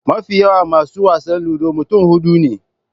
Mafi yawan masu wasan Ludo mutum huɗu ne.